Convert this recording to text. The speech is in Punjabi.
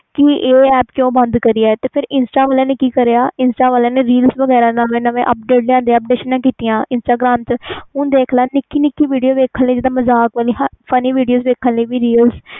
ਕਿ ਇਹ ਕਿਊ ਬੰਦ ਕੀਤੀ ਫਿਰ ਪਤਾ ਇਹਨਾਂ ਨੇ ਕਿ ਕੀਤਾ insta ਵਾਲਿਆਂ ਨੇ reals ਦੇ ਨਵੇਂ update ਲਿਆਂਦੇ instagarm ਤੇ ਹੁਣ ਦੇਖ ਲੈ ਨਿਕੀ ਨਿਕੀ ਵੀਡੀਓ funny video ਦੇਖਣ ਲਈ ਮਿਲਦੀ